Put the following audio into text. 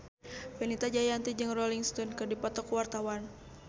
Fenita Jayanti jeung Rolling Stone keur dipoto ku wartawan